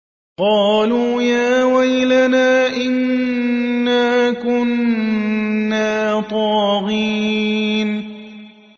قَالُوا يَا وَيْلَنَا إِنَّا كُنَّا طَاغِينَ